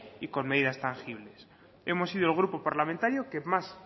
y con medidas tangibles hemos sido el grupo parlamentario que más